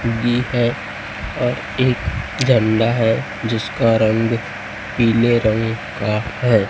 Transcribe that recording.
भी है और एक झंडा है जिसका रंग पीले रंग का है।